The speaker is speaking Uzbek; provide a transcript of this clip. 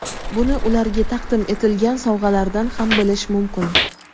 Buni ularga taqdim etilgan sovg‘alardan ham bilish mumkin.